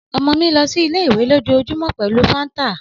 Ọmọ mi lọ si ile-iwe lojoojumọ pẹlu fanta